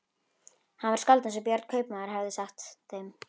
Hann var skáld eins og Björn kaupmaður hafði sagt þeim.